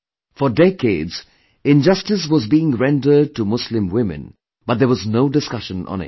For decades, injustice was being rendered to Muslim women but there was no discussion on it